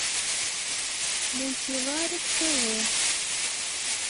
мультиварик тв